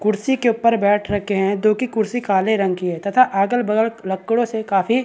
कुर्सी के ऊपर बैठ रखे है जो की कुर्सी काले रंग की है तथा अगल बगल लकड़ो से काफी --